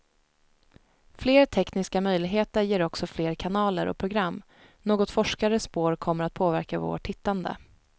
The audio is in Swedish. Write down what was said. Fler tekniska möjligheter ger också fler kanaler och program, något forskare spår kommer att påverka vårt tittande.